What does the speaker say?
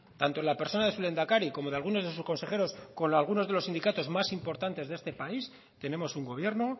tanto en la persona de su lehendakari como de algunos de sus consejeros con algunos de los sindicatos más importantes de este país tenemos un gobierno